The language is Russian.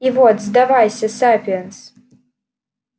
и вот сдавайся сапиенс